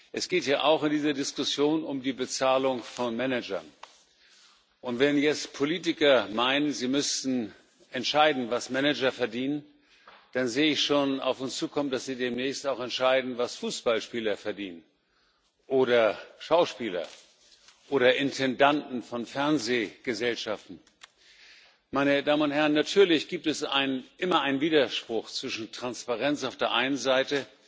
Es geht in dieser Diskussion ja auch um die Bezahlung von Managern. Und wenn jetzt Politiker meinen, sie müssten entscheiden, was Manager verdienen, dann sehe ich schon auf uns zukommen, dass sie demnächst auch entscheiden, was Fußballspieler verdienen oder Schauspieler oder Intendanten von Fernsehgesellschaften. Natürlich gibt es immer einen Widerspruch zwischen Transparenz auf der einen Seite